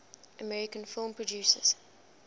american film producers